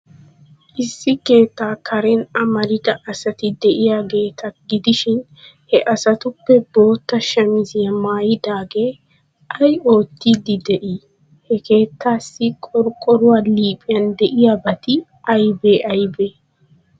Issi keettaa Karen amarida asati de'iyaageeta gidishin, he asatuppe boottaa shamiziyaa maayidaagee ay oottiiddi de'ii? Ha keettaassi qorqqoruwaa liiphiyan de'iyabati aybee aybee?